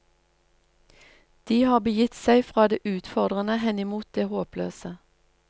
De har begitt seg fra det utfordrende henimot det håpløse.